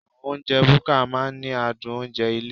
Àwọn oúnjẹ búkà máa ń ní adùn oúnjẹ ilé.